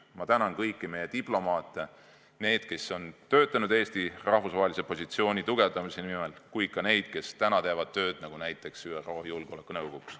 Ma tänan kõiki meie diplomaate, neid, kes on töötanud Eesti rahvusvahelise positsiooni tugevdamise nimel, aga ka neid, kes täna teevad tööd näiteks ÜRO Julgeolekunõukogus.